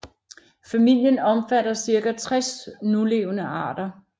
Familien omfatter cirka 60 nulevende arter